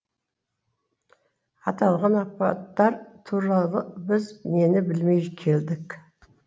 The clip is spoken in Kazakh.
аталған апаттар туралы біз нені білмей келдік